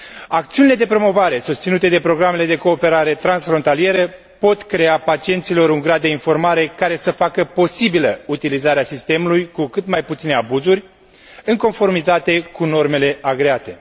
Acțiunile de promovare susținute de programele de cooperare transfrontalieră pot crea pacienților un grad de informare care să facă posibilă utilizarea sistemului, cu cât mai puține abuzuri, în conformitate cu normele agreate.